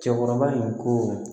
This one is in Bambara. Cɛkɔrɔba in ko